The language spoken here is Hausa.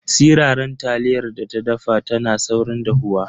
Siraran taliyar da ta dafa tana saurin dahuwa.